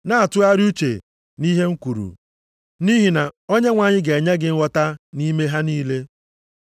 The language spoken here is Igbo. Na-atụgharị uche nʼihe m kwuru, nʼihi na Onyenwe anyị ga-enye gị nghọta nʼime ha niile.